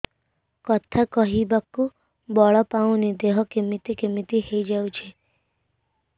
କଥା କହିବାକୁ ବଳ ପାଉନି ଦେହ କେମିତି କେମିତି ହେଇଯାଉଛି